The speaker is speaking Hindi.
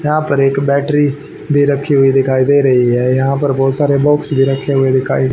यहां पर एक बैटरी भी रखी हुई दिखाई दे रही है यहां पर बहोत सारे बॉक्स भी रखे हुए दिखाई--